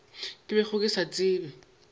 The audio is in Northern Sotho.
ke bego ke se tseba